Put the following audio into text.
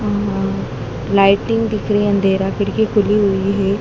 ऊं लाइटिंग दिख रही है अंधेरा खिड़की खुली हुई है।